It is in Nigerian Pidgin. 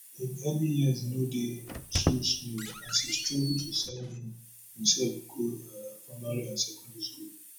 im early years no dey too smooth as e struggle to send imsef go um primary and secondary school